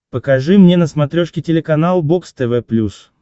покажи мне на смотрешке телеканал бокс тв плюс